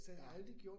Ja